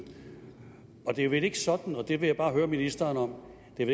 det er vel ikke sådan og det vil jeg bare høre ministeren om at